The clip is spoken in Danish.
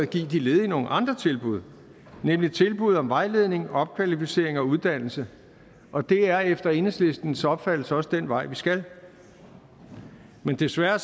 give de ledige nogle andre tilbud nemlig tilbud om vejledning opkvalificering og uddannelse og det er efter enhedslistens opfattelse også den vej vi skal men desværre